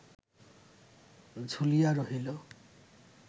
ঝুলিয়া রহিল